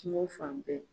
Kungo fan bɛɛ